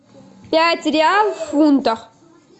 пять реал в фунтах